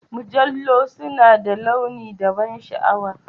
Mujallu suna da launi da ban sha'awa.